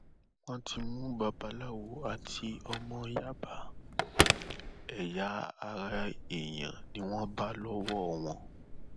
wọn ti mú babaláwo àti ọmọ yàbá ẹyà ara èèyàn ni wọn bá lọwọ wọn